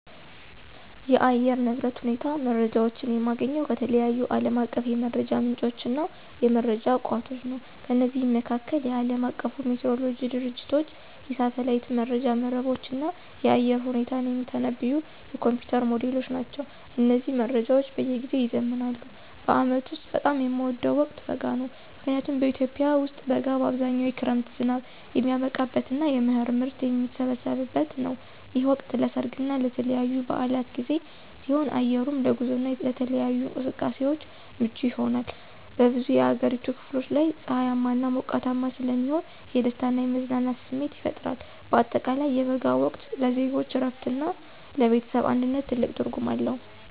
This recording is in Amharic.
የአየር ንብረት ሁኔታ መረጃዎችን የማገኘው ከተለያዩ ዓለም አቀፍ የመረጃ ምንጮችና የመረጃ ቋቶች ነው። ከነዚህም መካከል፦ የዓለም አቀፉ ሜትሮሎጂ ድርጅቶች፣ የሳተላይት መረጃ መረቦች፣ እና የአየር ሁኔታን የሚተነብዩ የኮምፒዩተር ሞዴሎች ናቸው። እነዚህ መረጃዎች በየጊዜው ይዘምናሉ። በዓመቱ ውስጥ በጣም የምወደው ወቅት በጋ ነው። ምክንያቱም በኢትዮጵያ ውስጥ በጋ በአብዛኛው የክረምት ዝናብ የሚያበቃበትና የመኸር ምርት የሚሰበሰብበት ነው። ይህ ወቅት ለሠርግና ለተለያዩ በዓላት ጊዜ ሲሆን፣ አየሩም ለጉዞና ለተለያዩ እንቅስቃሴዎች ምቹ ይሆናል። በብዙ የአገሪቱ ክፍሎች ላይ ፀሐያማና ሞቃታማ ስለሚሆን የደስታና የመዝናናት ስሜት ይፈጥራል። በአጠቃላይ የበጋው ወቅት ለዜጎች እረፍትና ለቤተሰብ አንድነት ትልቅ ትርጉም አለው።